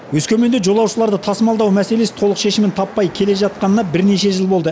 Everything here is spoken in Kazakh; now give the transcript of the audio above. өскеменде жолаушыларды тасымалдау мәселесі толық шешімін таппай келе жатқанына бірнеше жыл болды